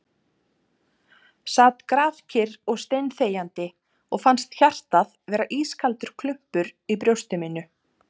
Sat grafkyrr og steinþegjandi og fannst hjartað vera ískaldur klumpur í brjósti mínu ...